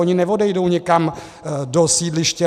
Oni neodejdou někam do sídliště